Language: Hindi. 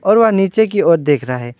और वह नीचे की ओर देख रहा है।